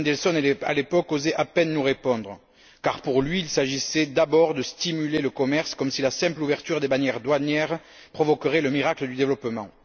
Mandelson, à l'époque, osait à peine nous répondre car, pour lui, il s'agissait d'abord de stimuler le commerce comme si la simple ouverture des barrières douanières provoquerait le miracle du développement.